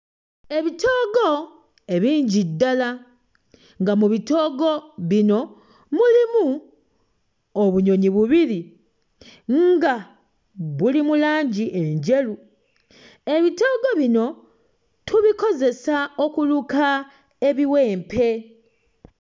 Ebitoogo ebingi ddala nga mu bitoogo bino mulimu obunyonyi bubiri nga buli mu langi enjeru. Ebitoogo bino tubikozesa okuluka ebiwempe.